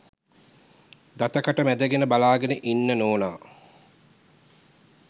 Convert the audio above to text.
දත කට මැදගෙන බලාගෙන ඉන්න නෝනා.